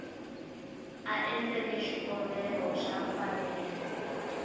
a endleke xikombelo xa mfanelo